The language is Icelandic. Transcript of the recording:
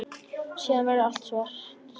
Síðan verður allt svart.